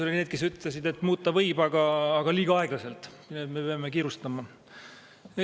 Oli neid, kes ütlesid, et muuta võib, aga liiga aeglaselt, me peame kiirustama.